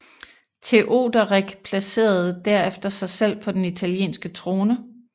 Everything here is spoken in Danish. Teoderik placerede derefter sig selv på den italienske trone